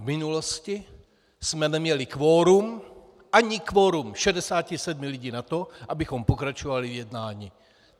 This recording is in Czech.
V minulosti jsme neměli kvorum, ani kvorum 67 lidí na to, abychom pokračovali v jednání.